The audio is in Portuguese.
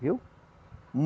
Viu?